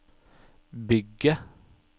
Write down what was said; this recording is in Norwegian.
bygge